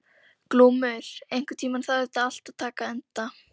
Glúmur, einhvern tímann þarf allt að taka enda.